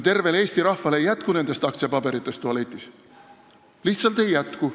Tervele Eesti rahvale ei jätku nendest aktsiapaberitest tualetis, lihtsalt ei jätku.